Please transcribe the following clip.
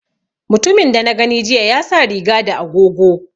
Mutumin da na gani jiya ya sa riga da agogo